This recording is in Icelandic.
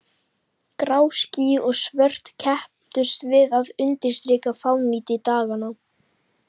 Grá ský og svört kepptust við að undirstrika fánýti daganna.